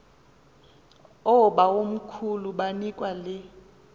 oobawomkhulu banikwa le